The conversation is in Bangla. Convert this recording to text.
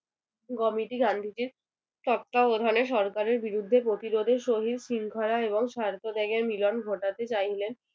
Committee গান্ধীজীর তত্ত্বাবধানে সরকারের বিরুদ্ধে প্রতিরোধের সহিত শৃঙ্খলা এবং স্বার্থত্যাগের মিলন ঘটাতে চাইলেন